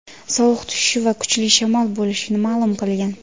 sovuq tushishi va kuchli shamol bo‘lishini ma’lum qilgan.